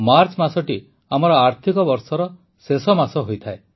March ମାସଟି ଆମର ଆର୍ଥିକ ବର୍ଷର ଶେଷ ମାସ ହୋଇଥାଏ